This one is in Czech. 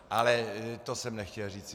Ale to jsem nechtěl říci.